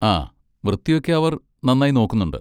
ആ, വൃത്തിയൊക്കെ അവർ നന്നായി നോക്കുന്നുണ്ട്.